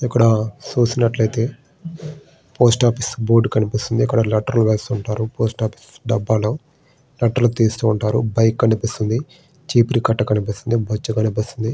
ఇక్కడ చూసినట్లయితే post office board కనిపిస్తుంది. ఇక్కడ అవి లెటర్ లో అవి డబ్బాలో. లెటర్ తీస్తూ బైక్ కనిపిస్తుంది. చీపురు కట్ట కనిపిస్తుంది. బొచ్చే కనిపిస్తుంది.